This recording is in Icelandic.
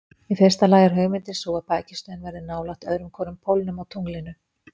Í fyrsta lagi er hugmyndin sú að bækistöðin verði nálægt öðrum hvorum pólnum á tunglinu.